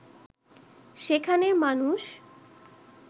সেখানে মানুষ